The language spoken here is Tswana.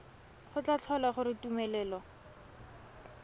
go tla tlhola gore tumelelo